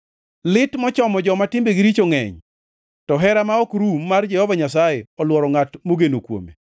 Lit mochomo joma timbegi richo ngʼeny, to hera ma ok rum mar Jehova Nyasaye, olworo ngʼat mogeno kuome.